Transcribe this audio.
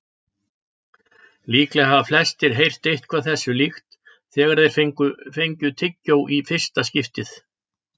Líklega hafa flestir heyrt eitthvað þessu líkt þegar þeir fengu tyggjó í fyrsta skipti.